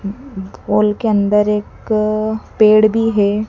हाल के अंदर एक पेड़ भी है।